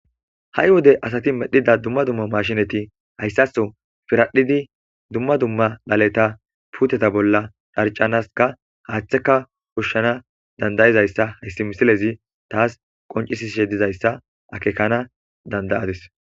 ha7i wode asati medhdhida dumma dumma mashshinati hayssaththo piradhdhiidi dumma dumma dhaleta putetta bolla dharcanaskka haththekka hushshanas dandayizayssa hayssi misilezi taas qoncisishshe dizayssa akekana dand'adis